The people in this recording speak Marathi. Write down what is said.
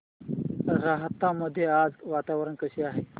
राहता मध्ये आज वातावरण कसे आहे